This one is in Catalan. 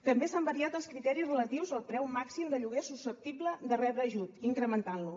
també s’han variat els criteris relatius al preu màxim de lloguer susceptible de rebre ajut incrementant lo